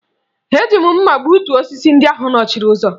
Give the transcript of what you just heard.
Eji m mma gbutuo osisi ndị ahụ nọchiri ụzọ